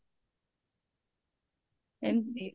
ଏମତି